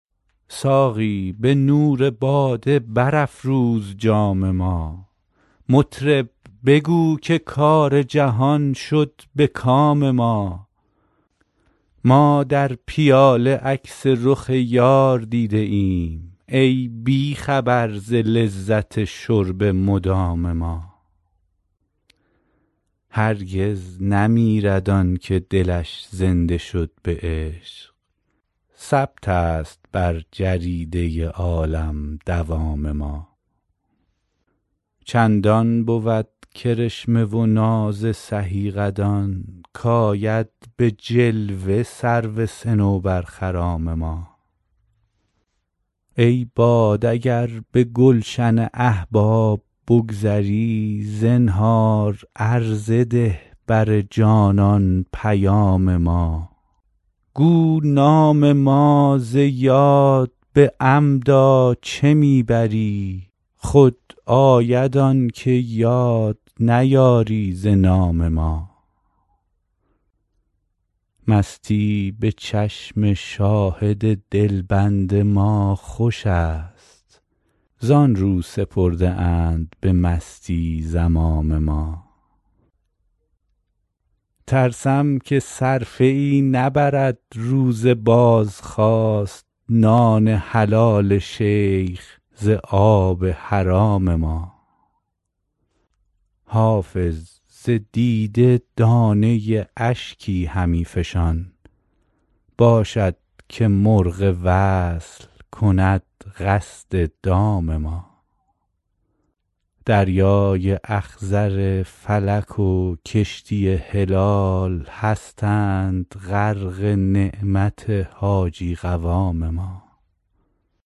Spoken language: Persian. ساقی به نور باده برافروز جام ما مطرب بگو که کار جهان شد به کام ما ما در پیاله عکس رخ یار دیده ایم ای بی خبر ز لذت شرب مدام ما هرگز نمیرد آن که دلش زنده شد به عشق ثبت است بر جریده عالم دوام ما چندان بود کرشمه و ناز سهی قدان کآید به جلوه سرو صنوبرخرام ما ای باد اگر به گلشن احباب بگذری زنهار عرضه ده بر جانان پیام ما گو نام ما ز یاد به عمدا چه می بری خود آید آن که یاد نیاری ز نام ما مستی به چشم شاهد دلبند ما خوش است زآن رو سپرده اند به مستی زمام ما ترسم که صرفه ای نبرد روز بازخواست نان حلال شیخ ز آب حرام ما حافظ ز دیده دانه اشکی همی فشان باشد که مرغ وصل کند قصد دام ما دریای اخضر فلک و کشتی هلال هستند غرق نعمت حاجی قوام ما